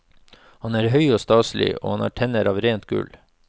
Han er høy og staselig, og han har tenner av rent gull.